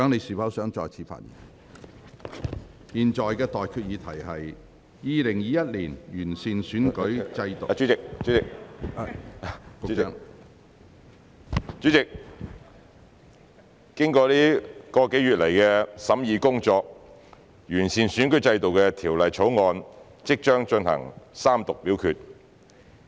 主席，經過一個多月來的審議工作，完善選舉制度的《2021年完善選舉制度條例草案》，即將進行三讀表決。